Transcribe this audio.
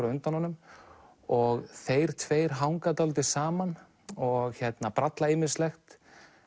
á undan honum og þeir tveir hanga dálítið saman og bralla ýmislegt